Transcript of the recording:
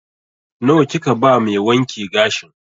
Nawa kika ba mai wanke gashin?